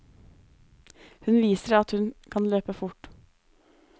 Hun viser at hun kan løpe fort.